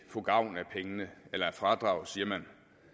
få gavn af pengene eller af fradraget siger man